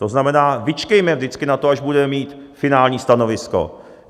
To znamená, vyčkejme vždycky na to, až budeme mít finální stanovisko.